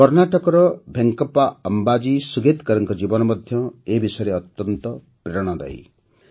କର୍ଣ୍ଣାଟକର ଭେଙ୍କପ୍ପା ଅମ୍ବାଜୀ ସୁଗେତ୍କରଙ୍କ ଜୀବନ ମଧ୍ୟ ଏ ବିଷୟରେ ଅତ୍ୟନ୍ତ ପ୍ରେରଣାଦାୟୀ